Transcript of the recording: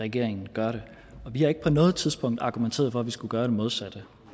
regeringen gør det og vi har ikke på noget tidspunkt argumenteret for at vi skulle gøre det modsatte